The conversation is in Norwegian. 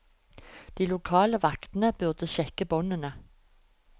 De lokale vaktene burde sjekke båndene.